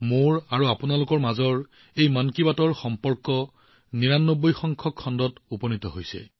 মন কী বাতৰ জৰিয়তে এই পাৰস্পৰিক সম্পৰ্ক ইয়াৰ নিৰানব্বৈতম ৯৯ তম পৰ্যায়ত উপনীত হৈছে